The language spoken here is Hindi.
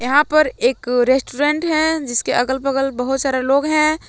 यहां पर एक रेस्टोरेंट है जिसके अगल बगल बहुत सारे लोग हैं ।